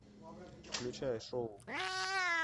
включай шоу